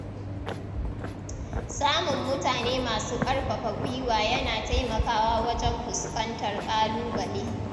Samun mutane masu ƙarfafa guiwa yana taimakawa wajen fuskantar ƙãlubale.